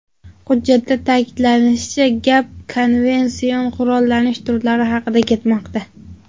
Hujjatda ta’kidlanishicha, gap konvension qurollanish turlari haqida ketmoqda.